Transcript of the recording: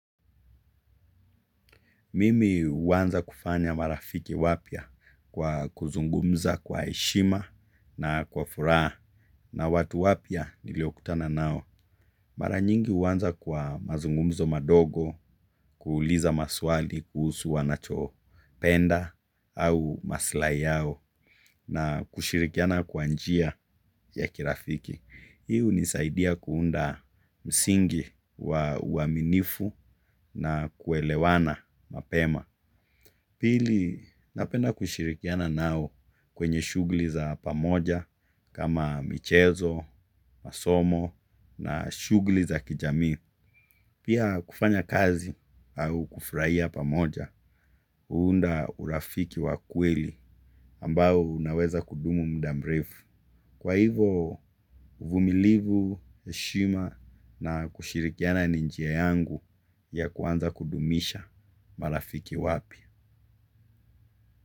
Mimi huanza kufanya marafiki wapya kwa kuzungumza kwa heshima na kwa furaha na watu wapya nilio kutana nao. Mara nyingi huanza kwa mazungumzo madogo kuuliza maswali kuhusu wanacho penda au maslai yao na kushirikiana kwa njia ya kirafiki. Hi hunisaidia kuunda msingi wa uaminifu na kuelewana mapema. Pili, napenda kushirikiana nao kwenye shughuli za pamoja kama michezo, masomo na shuguli za kijami. Pia kufanya kazi au kufurahia pamoja, huunda urafiki wa kweli ambao unaweza kudumu muda mrefu. Kwa hivo, uvumilivu, heshima na kushirikiana ni njia yangu ya kuanza kudumisha marafiki wapya.